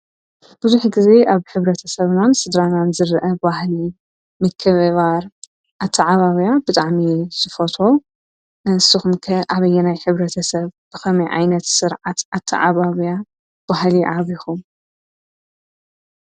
ብዙኅ ጊዜ ኣብ ኅብረተ ሰብናን ስድራናን ዝርአ ዋሕሊ ምከባር ኣተ ዓባብያ ብጣዕሚ ስፈቶ ኣንስኹምከ ኣበየናይ ኅብረተ ሰብ ብኸሚ ዓይነት ሥርዓት ኣተዓባብያ ጓሕሊ ዓቢኹም?